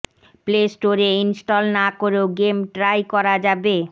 play স্টোরে install না করেও গেম ট্রাই করা যাবে